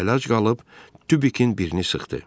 O nac qalın tubikin birini sıxdı.